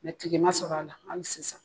Mɛ tigi ma sɔrɔ a la ali sisan